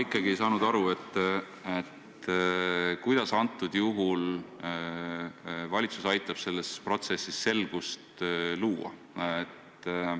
Aga ma ei saanud ikkagi aru, kuidas aitab valitsus praegusel juhul selles protsessis selgust luua.